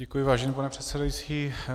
Děkuji, vážený pane předsedající.